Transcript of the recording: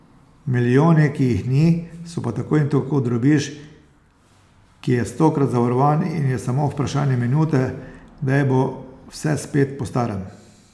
Milijoni, ki jih ni, so pa tako in tako drobiž, ki je stokrat zavarovan in je samo vprašanje minute, kdaj bo vse spet po starem.